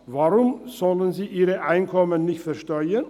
Warum sollen sie ihre Einkommen nicht versteuern?